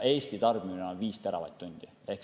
Eesti tarbimine on 5 teravatt-tundi.